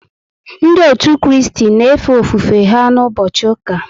Ndị òtù Kristi na efe ofufe ha ụbọchị ụka